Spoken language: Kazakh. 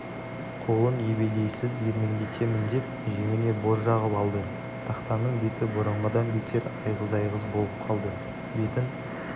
қолын ебедейсіз ербеңдетемін деп жеңіне бор жағып алды тақтаның беті бұрынғыдан бетер айғыз-айғыз болып қалды бетін